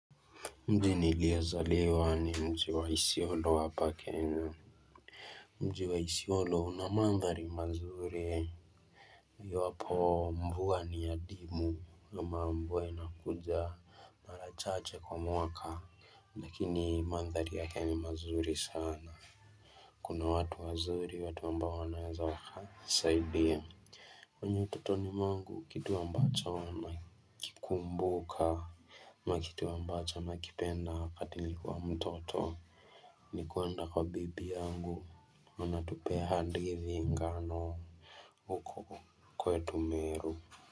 Mji niliyezaliwa ni mji wa isiolo hapa Kenya Mji wa isiolo una mandhari mazuri Iwapo mvua ni adimu ama mvua inakuja mara chache kwa mwaka Lakini mandhari yake ni mazuri sana Kuna watu wazuri watu ambao wanaweza saidia kwenye utotoni mwangu kitu ambacho nakikumbuka na kitu ambacho nakipenda wakati nilikuwa mtoto ni kuenda kwa bibi yangu wanatupea hadithi ngano huko kwetu Meru.